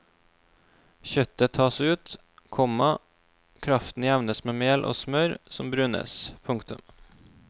Kjøttet tas ut, komma kraften jevnes med mel og smør som brunes. punktum